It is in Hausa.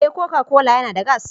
Eh Coca-Cola yana da gas.